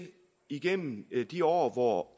igennem de år hvor